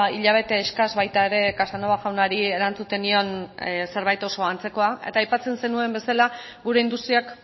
hilabete eskas baita ere casanova jaunari erantzuten nion zerbait oso antzekoa eta aipatzen zenuen bezala gure industriak